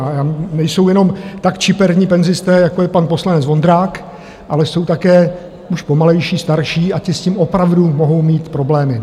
A nejsou jenom tak čiperní penzisté, jako je pan poslanec Vondrák, ale jsou také už pomalejší, starší, a ti s tím opravdu mohou mít problémy.